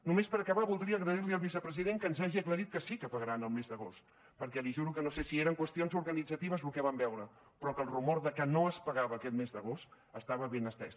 només per acabar voldria agrair li al vicepresident que ens hagi aclarit que sí que pagaran el mes d’agost perquè li juro que no sé si eren qüestions organitzatives lo que vam veure però que el rumor de que no es pagava aquest mes d’agost estava ben estès